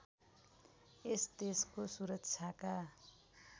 यस देशको सुरक्षाका